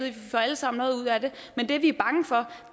vi får alle sammen noget ud af det men det vi er bange for